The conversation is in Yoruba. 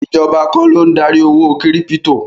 Ìjọba kọ́ ló ń darí owó kírípítò.